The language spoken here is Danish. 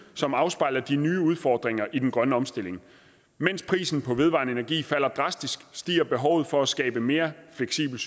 som afspejler de nye udfordringer i den grønne omstilling mens prisen på vedvarende energi falder drastisk stiger behovet for at skabe et mere fleksibelt